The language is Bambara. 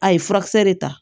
A ye furakisɛ de ta